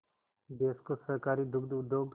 देश को सहकारी दुग्ध उद्योग